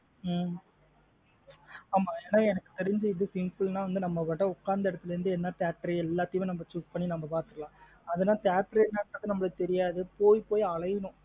ஹம் ஆமா என்ன எனக்கு தெறிச்சு இது simple நா நம்ம உக்காந்த இடத்துல இருந்து என்ன theatre எல்லாத்தையும் choose பண்ணி நம்ம பாத்துக்கலாம். அது theatre ஏ என்ன theatre நு நம்மலுக்கு தெரியாது. போய் போய் அலையனும்